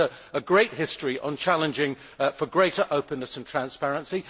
She has a great history of challenging for greater openness and transparency.